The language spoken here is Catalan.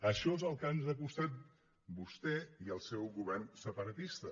això és el que ens han costat vostè i el seu govern separatista